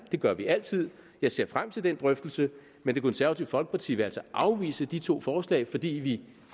det gør vi altid jeg ser frem til den drøftelse men det konservative folkeparti vil altså afvise de to forslag fordi vi